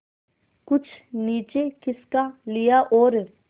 कुछ नीचे खिसका लिया और